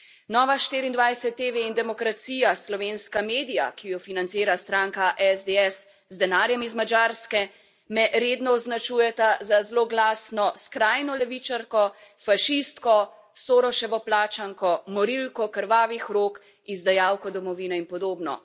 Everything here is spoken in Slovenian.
Nova 24tv in Demokracija, slovenska medija, ki ju financira stranka SDS z denarjem iz Madžarske, me redno označujeta za zloglasno skrajno levičarko, fašistko, Sorosevo plačanko, morilko krvavih rok, izdajalko domovine in podobno.